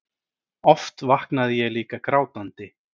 Oft vaknaði ég líka grátandi.